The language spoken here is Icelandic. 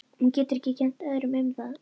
Hún getur ekki kennt öðrum um það.